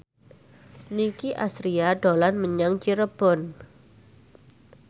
Nicky Astria dolan menyang Cirebon